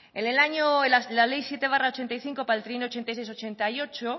en el año la ley siete barra ochenta y cinco para el trienio ochenta y seis ochenta y ocho